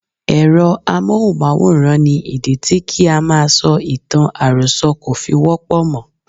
Èrọ amóhùnmáwòrán ni ìdí tí kí á máa sọ ìtàn àròsọ kò fi wọ́pọ̀ mọ́.